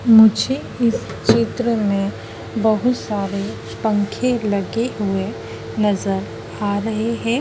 मुझे इस चित्र मे बहुत सारे पंखे लगे हुए नज़र आ रहे है।